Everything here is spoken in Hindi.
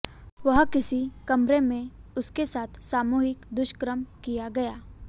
वहां किसी कमरे में उसके साथ सामूहिक दुष्कर्म किया गया